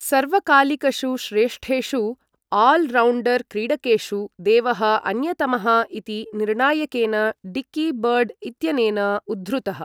सर्वकालिकषु श्रेष्ठेषु all rounder क्रीडकेषु देवः अन्यतमः इति निर्णायकेन डिक्की बर्ड् इत्यनेन उद्धृतः।